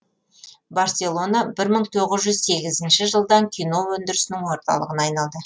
барселона бір мың тоғыз жүз сегізінші жылдан кино өндірісінің орталығына айналды